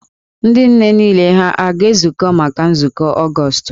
Ndị nne niile ha a ga-ezukọ maka nzukọ Ọgọọst?